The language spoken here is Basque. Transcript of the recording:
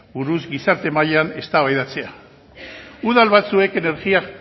buruz gizarte mailan eztabaidatzea udal batzuek energia